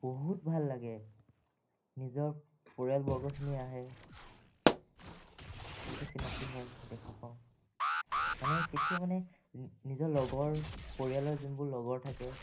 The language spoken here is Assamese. বহুত ভাল লাগে, নিজৰ পৰিয়ালবৰ্গখিনি আহে, চিনাকী হয় , মানে তেতিয়া মানে নিজৰ লগৰ পৰিয়ালৰ জুনবোৰ লগৰ থাকে